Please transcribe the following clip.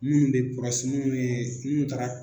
Minnu bɛ minnu ye minnu taara